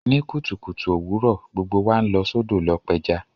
Ní kùtùkùtù òwurọ̀, gbogbo wa n lọ sódò lo pẹja